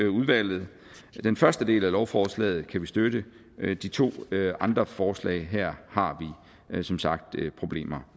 udvalget den første del af lovforslaget kan vi støtte de to andre forslag her har vi som sagt problemer